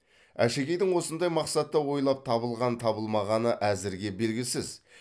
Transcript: әшекейдің осындай мақсатта ойлап табылған табылмағаны әзірге белгісіз